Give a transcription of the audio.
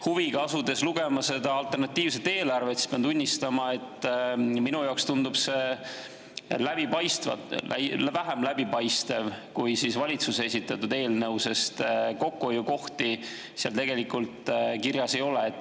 Huviga asusin lugema seda alternatiivset eelarvet ja pean tunnistama, et minu jaoks tundub see vähem läbipaistev kui valitsuse esitatud eelnõu, sest kokkuhoiukohti seal tegelikult kirjas ei ole.